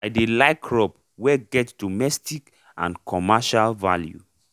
i dey like crop wey get domestic and commercial value